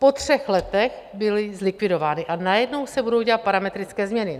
Po třech letech byly zlikvidovány, a najednou se budou dělat parametrické změny?